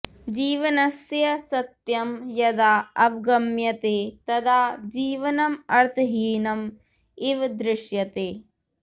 जीवनस्य सत्यं यदा अवगम्यते तदा जीवनम् अर्थहीनम् इव दृश्यते